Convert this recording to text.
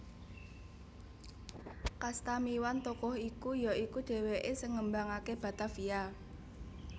Kastamiwan tokoh iki ya iku dhèwèké sing ngembangaké Batavia